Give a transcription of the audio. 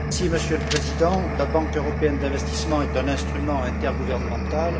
Monsieur le Président, la Banque européenne d'investissement est un instrument intergouvernemental.